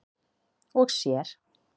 og sér.